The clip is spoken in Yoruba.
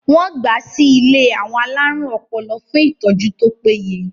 wọ́n gbà á sí ilé àwọn alárùn ọpọlọ fún ìtọ́jú tó péye